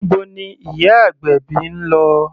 Níbo ni ìyá agbèbí ń lọ?